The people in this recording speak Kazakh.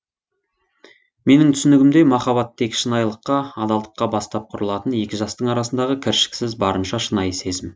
менің түсінігімде махаббат тек шынайылыққа адалдыққа бастап құрылатын екі жастың арасындағы кіршікіз барынша шынайы сезім